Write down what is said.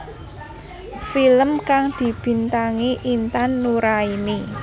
Film kang dibintangi Intan Nuraini